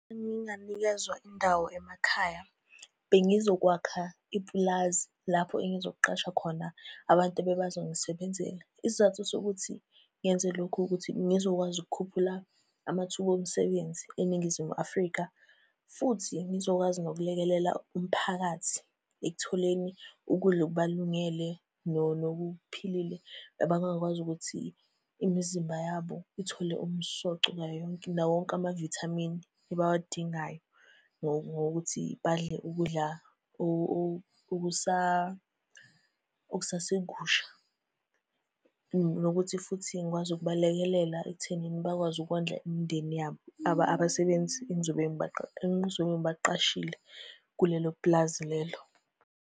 Nginganikezwa indawo emakhaya, bengizokwakha ipulazi lapho engizoqasha khona abantu ebebazongisebenzela. Isizathu sokuthi ngenze lokhu ukuthi ngizokwazi ukukhuphula amathuba omsebenzi eNingizimu Afrika, futhi ngizokwazi nokulekelela umphakathi ekutholeni ukudla okubalungele nokuphilile. Abangakwazi ukuthi imizimba yabo ithole umsoco nawowonke amavithamini abawadingayo ngokuthi badle ukudla okusasekusha, nokuthi futhi ngikwazi ukubalekelela ekuthenini bakwazi ukondla imindeni yabo. Abasebenzi engizobe engizobe ngibaqashile kulelo pulazi lelo.